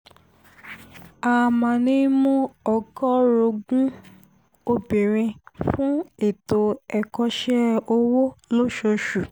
a a máa ń mú ọgọ́ọ̀rọ̀gùn-ún obìnrin fún ètò ẹ̀kọ́ṣẹ́ ọwọ́ lóṣooṣù